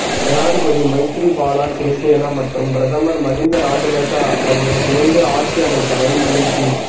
ஜனாதிபதி மைத்திரிபால சிறிசேன மற்றும் பிரதமர் மஹிந்த ராஜபக்ஷ ஆகியோர் இணைந்து ஆட்சி அமைத்தமை மகிழ்ச்சி